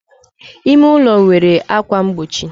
ime ụlọ nwere ákwà mgbochi